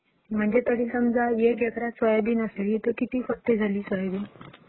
म्हणजे समजा एक एकरात सोयबीन असेल तर किती पोती झाली सोयाबीन?